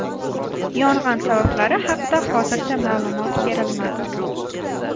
Yong‘in sabablari haqida hozircha ma’lumot berilmadi.